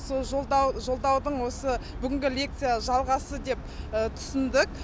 сол жолдаудың осы бүгінгі лекция жалғасы деп түсіндік